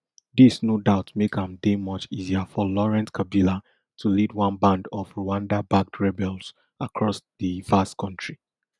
dis no doubt make am dey much easier for laurent kabila to lead one band of rwandabacked rebels across di vast kontri